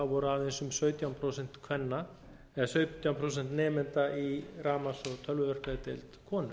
voru aðeins um sautján prósent nemenda í rafmagns og tölvuverkfræðideild konur